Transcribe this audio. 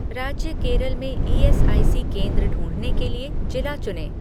राज्य केरल में ईएसआईसी केंद्र ढूँढने के लिए जिला चुनें